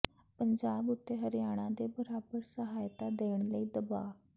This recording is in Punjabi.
ਪੰਜਾਬ ਉੱਤੇ ਹਰਿਆਣਾ ਦੇ ਬਰਾਬਰ ਸਹਾਇਤਾ ਦੇਣ ਲਈ ਦਬਾਅ